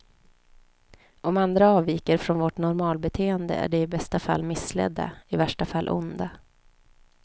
Om andra avviker från vårt normalbeteende är de i bästa fall missledda, i värsta fall onda.